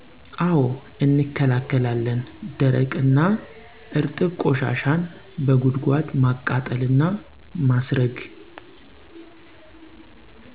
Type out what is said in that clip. አዉ እንከላከላለን ደረቅ እና እረጥብ ቆሻሻን በጉድጓድ ማቃጠል እና ማስረግ